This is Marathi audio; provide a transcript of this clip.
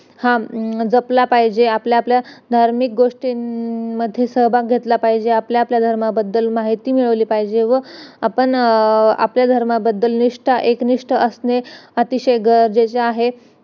आह जपला पाहिजेत आपल्या आपल्या धार्मिक गोष्टीमध्ये सहभाग घेतला पाहिजेत आपल्या आपल्या धर्माबद्दल माहिती मिळवली पाहिजेत व आपण आपल्या धर्माबद्दल निष्ठा एकनिष्ठ असणं अतिशय गरजेचं आहे